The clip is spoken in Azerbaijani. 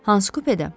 Hansı kupedə?